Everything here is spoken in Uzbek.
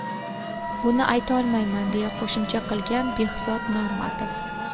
Buni aytolmayman”, deya qo‘shimcha qilgan Behzod Normatov.